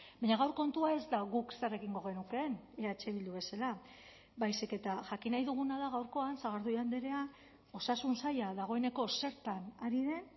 baina gaur kontua ez da guk zer egingo genukeen eh bildu bezala baizik eta jakin nahi duguna da gaurkoan sagardui andrea osasun saila dagoeneko zertan ari den